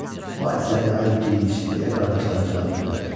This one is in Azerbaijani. Vay sənəni, ay Gic! – deyə qardaşları cavab verdilər.